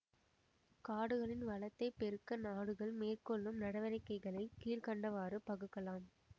காடுகளின் வளத்தைப் பெருக்க நாடுகள் மேற்கொள்ளும் நடவடிக்கைகளை கீழ் கண்டவாறு பகுக்கலாம்